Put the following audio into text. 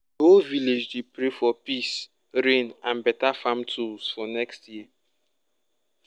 whole village dey pray for peace rain and better farm tools for next year.